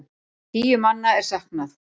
Tíu manna er saknað.